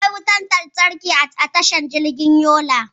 Akwai wutar lantarki a tashar jirgin saman Yola.